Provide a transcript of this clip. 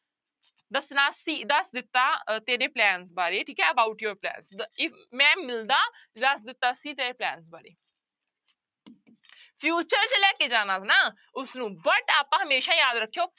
ਦੱਸਣਾ ਸੀ ਦੱਸ ਦਿੱਤਾ ਅਹ ਤੇਰੇ plan ਬਾਰੇ ਠੀਕ ਹੈ about your plan ਤੋ if ਮੈਂ ਮਿਲਦਾ ਦੱਸ ਦਿੱਤਾ ਸੀ ਤੇਰੇ plan ਬਾਰੇ future ਚ ਲੈ ਕੇ ਜਾਣਾ ਨਾ ਉਸਨੂੰ but ਆਪਾਂ ਹਮੇਸ਼ਾ ਯਾਦ ਰੱਖਿਓ